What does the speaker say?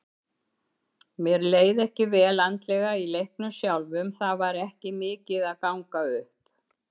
Mér leið ekki vel andlega í leiknum sjálfum, það var ekki mikið að ganga upp.